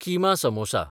keema samosa